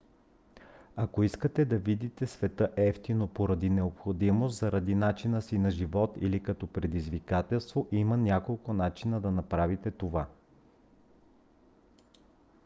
ако искате да видите света евтино поради необходимост заради начина си на живот или като предизвикателство има няколко начина да направите това